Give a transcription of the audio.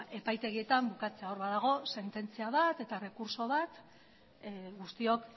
epaitegietan bukatzea hor badago sententzia bat eta errekurtso bat guztiok